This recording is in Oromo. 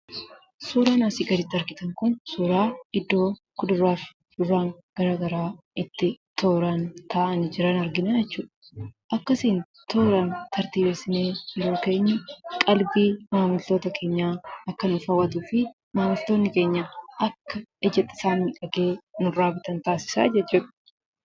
Suuraan asii gaditti argitan kun suuraa iddoo kuduraa fi muduraan garaa garaa itti tooraan taa'anii jiran arginaa jechuudha. Akkasiin tooraan tartiibessinee yeroo keenyu, qalbii maamiltoota keenyaa akka inni hawwatuu fi maamiltootni keenya akka iji isaanii argee nurraa bitan taasisaa jechuudha.